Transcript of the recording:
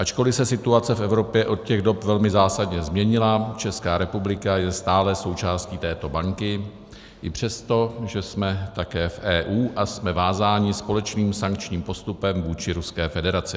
Ačkoliv se situace v Evropě od těch dob velmi zásadně změnila, Česká republika je stále součástí této banky i přesto, že jsme také v EU a jsme vázáni společným sankčním postupem vůči Ruské federaci.